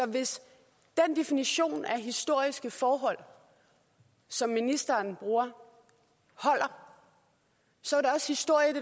hvis den definition af historiske forhold som ministeren bruger holder så